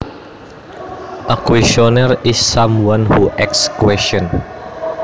A questioner is someone who asks questions